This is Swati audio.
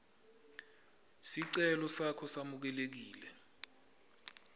sicelo sakho samukelekile